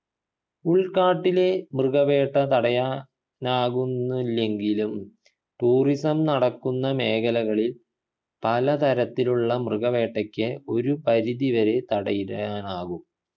ഉൾക്കാട്ടിലെ മൃഗവേട്ട തടയാനാകുന്നില്ലെങ്കിലും tourism നടക്കുന്ന മേഖലകളിൽ പല തരത്തിലുള്ള മൃഗവേട്ടക്ക് ഒരു പരിധി വരെ തടയിടാനാകും